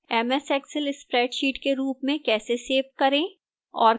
ms excel spreadsheet के रूप में कैसे सेव करें और